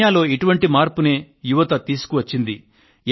కెన్యాలో ఇటువంటి మార్పునే యువత తీసుకువచ్చింది